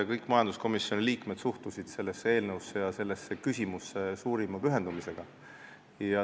Kõik majanduskomisjoni liikmed suhtusid sellesse eelnõusse ja sellesse küsimusse suurima pühendumisega.